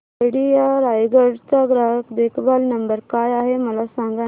idea Raigad चा ग्राहक देखभाल नंबर काय आहे मला सांगाना